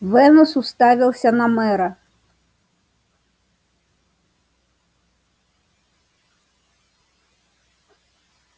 венус уставился на мэра